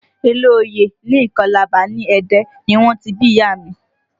Ilé oyè ní ìkọ́làbà ní Ẹdẹ ni wọ́n ti bí ìyá a mi